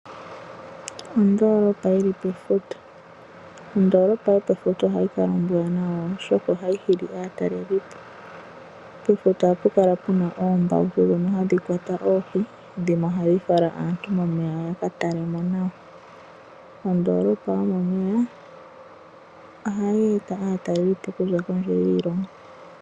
Oondolopa yili pefuta. Ondolopa yo pefuta ohayi kala ombwaanawa oshoka ohayi hili aatalelipo. Pefuta ohapu kala puna oombautu dhono hadhi kwata oohi, dhimwe ohadhi fala aantu momeya ya ka tale mo nawa. Ondolopa yo momeya ohayi eta aatalelipo okuza kondje yiilongo.